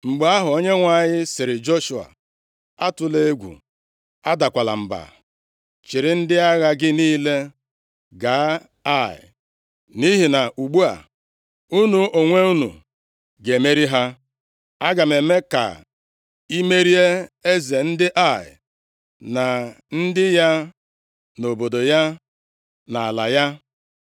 Mgbe ahụ, Onyenwe anyị sịrị Joshua, “Atụla egwu, adakwala mba. Chịrị ndị agha gị niile gaa Ai, nʼihi na ugbu a, unu onwe unu ga-emeri ha. Aga m eme ka i merie eze ndị Ai, na ndị ya na obodo ya, na ala ya.